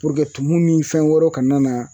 tumu ni fɛn wɛrɛw kana na